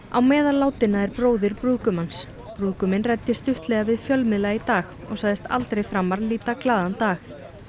á meðal látinna er bróðir brúðgumans brúðguminn ræddi stuttlega við fjölmiðla í dag og sagðist aldrei framar líta glaðan dag